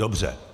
Dobře.